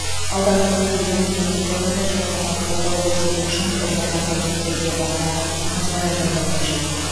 алдағы кезеңде мемлекеттік органдар жастарға қолдау көрсету үшін бірқатар міндеттерге баса назар аударуы қажет